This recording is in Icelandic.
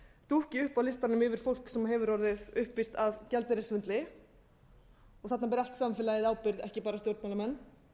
dúkki upp á listanum yfir fólk sem hefur orðið uppvíst að gjaldeyrissvindli og þarna ber allt samfélagið ábyrgð ekki bara stjórnmálamenn